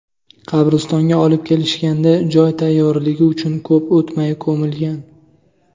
Qabristonga olib kelishganda joy tayyorligi uchun ko‘p o‘tmay ko‘milgan.